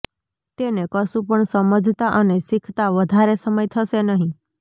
તેને કશું પણ સમજતા અને શીખતા વધારે સમય થશે નહિ